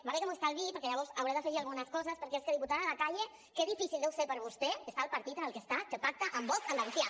va bé que m’ho estalviï perquè llavors hauré d’afegir algunes coses perquè és que diputada de la calle què difícil deu ser per vostè estar al partit en el que està que pacta amb vox a andalusia